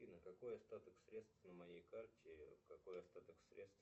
афина какой остаток средств на моей карте какой остаток средств